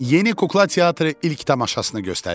Yeni kukla teatrı ilk tamaşasını göstərir.